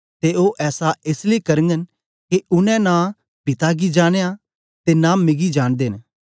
ते ओ ऐसा एस लेई करगन के उनै न पिता गी जानया ऐ ते न मिगी जांनदे न